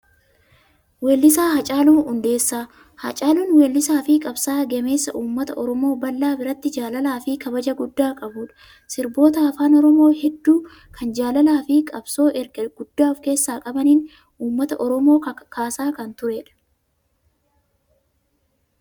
Weellisaa Haacaaluu Hundeessaa. Haacaaluun weellisaafi qabsaa'aa gameessa uummata Oromoo bal'aa biratti jaalalaa fi kabajaa guddaa qabudha. Sirboota afaan Oromoo hedduu kan jaalalaa fi qabsoo ergaa guddaa of keessaa qabaniin uummata Oromoo kakaasaa kan turedha.